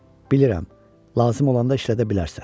Bilirəm, lazım olanda işlədə bilərsən.